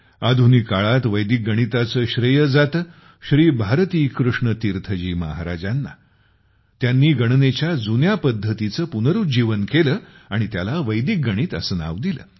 आधुनिक काळात वैदिक गणिताचे श्रेय जाते श्री भारती कृष्ण तीर्थ जी महाराजांना । त्यांनी गणनेच्या जुन्या पद्धतींचे पुनरुज्जीवन केले आणि त्याला वैदिक गणित असे नाव दिले